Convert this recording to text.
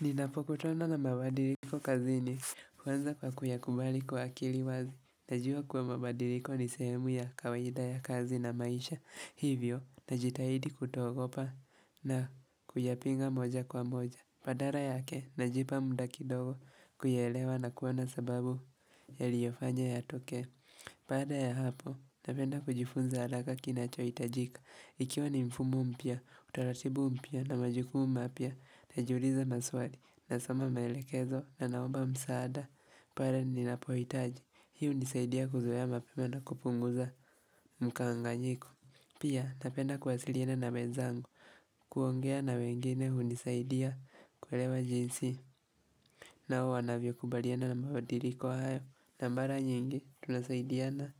Ninapokutana na mabadiriko kazini huanza kwa kuyakubali kwa akili wazi. Najua kuwa mabadiriko ni sehemu ya kawaida ya kazi na maisha hivyo. Najitahidi kutoogopa na kuyapinga moja kwa moja. Badala yake na jipa muda kidogo kuyaelewa na kuwana sababu ya liyofanya ya tokee baada ya hapo napenda kujifunza haraka kinacho hitajika Ikiwa ni mfumo mpya utaratibu mpya na majukumu mapya Najiuliza maswali na soma maelekezo na naomba msaada pale ni napohitaji hii hunisaidia kuzoea mapema na kupunguza mkanganyiko Pia napenda kuwasiliana na wenzangu kuongea na wengine hunisaidia kuelewa jinsi nao wanavyo kubaliana na mabadiliko hayo na mara nyingi tunasaidiana